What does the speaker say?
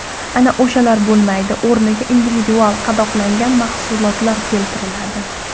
Ana o‘shalar bo‘lmaydi, o‘rniga individual qadoqlangan mahsulotlar keltiriladi.